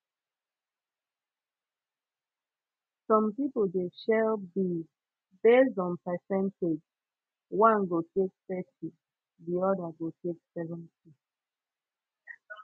som pipo de share bills based on percentage one go take thirty di oda go take seventy